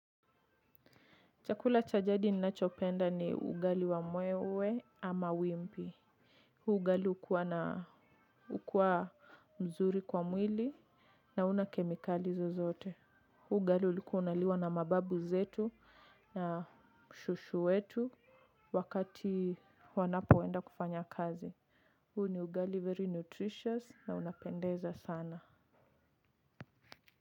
Chakula cha jadi ninachopenda ni ugali wa mwewe ama wimbi. Huu ugali ukua na ukua mzuri kwa mwili. Na huna kemikali zozoote. Huu ugali ulikua unaliwa na mababu zetu. Na shushu wetu wakati wanapoenda kufanya kazi. Huu ni ugali very nutritious na unapendeza sana.